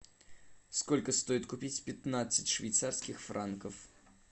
сколько стоит купить пятнадцать швейцарских франков